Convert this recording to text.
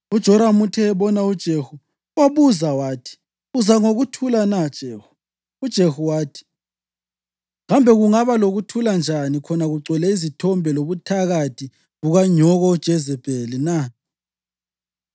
UJoramu uthe ebona uJehu wambuza wathi, “Uza ngokuthula na, Jehu?” UJehu wathi, “Kambe kungaba lokuthula njani khona kugcwele izithombe lobuthakathi bukanyoko uJezebheli na?”